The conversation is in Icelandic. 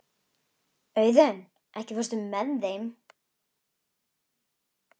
Auðunn, ekki fórstu með þeim?